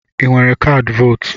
I nwere kaadị vootu?